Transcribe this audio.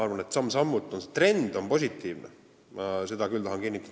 Samm-sammult on trend läinud positiivsemaks, seda ma tahan küll kinnitada.